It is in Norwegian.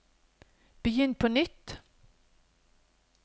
begynn på nytt